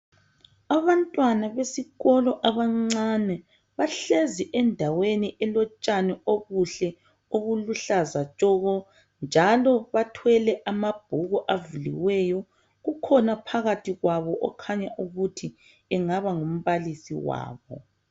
Abantwana besikolo abancane, bahlezi endaweni elotshani obuhle obuluhlaza tshoko. Njalo bathwele amabhuku avuliweyo .Kukhona phakathi kwabo ,okhanya ukuthi engaba ngumbalisi wabo.